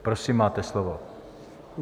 Prosím, máte slovo.